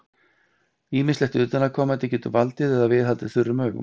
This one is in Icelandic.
Ýmislegt utanaðkomandi getur valdið eða viðhaldið þurrum augum.